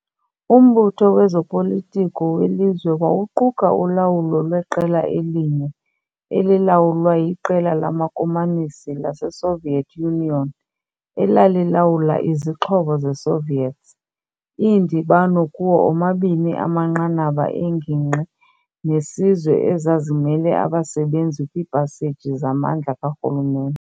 Umbutho wezopolitiko welizwe wawuquka ulawulo lweqela elinye, elilawulwa yiQela lamaKomanisi laseSoviet Union, elalilawula izixhobo zeSoviets, iindibano kuwo omabini amanqanaba engingqi nesizwe ezazimele abasebenzi kwiipaseji zamandla karhulumente.